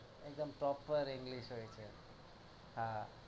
એકદમ proper english હોય છે હા